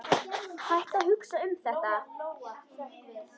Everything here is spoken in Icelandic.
Hættu að hugsa um þetta.